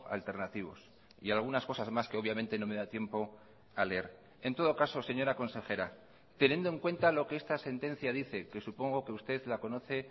alternativos y algunas cosas más que obviamente no me da tiempo a leer en todo caso señora consejera teniendo en cuenta lo que esta sentencia dice que supongo que usted la conoce